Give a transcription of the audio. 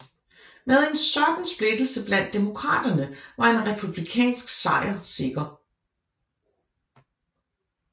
Med en sådan splittelse blandt demokraterne var en republikansk sejr sikker